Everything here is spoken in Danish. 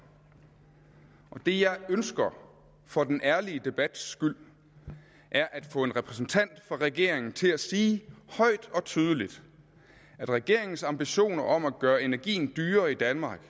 det jeg ønsker for den ærlige debat skyld er at få en repræsentant for regeringen til at sige højt og tydeligt at regeringens ambitioner om at gøre energien dyrere i danmark